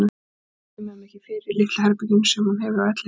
Hún kemur þeim ekki fyrir í litla herberginu sem hún hefur á elliheimilinu.